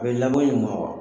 A be labo ɲuma wa